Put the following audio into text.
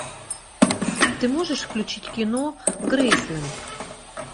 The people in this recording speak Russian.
ты можешь включить кино грейсленд